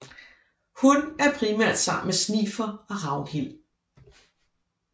Hun er primært sammen med Snifer og Ragnhild